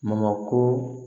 Mako